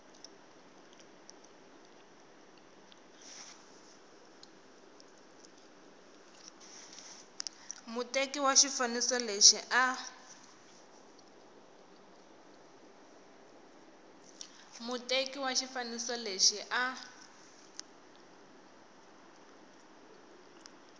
muteki wa xifaniso lexi a